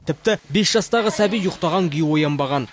тіпті бес жастағы сәби ұйықтаған күйі оянбаған